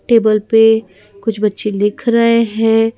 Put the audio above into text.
Table पे कुछ बच्चे लिख रहे हैं ।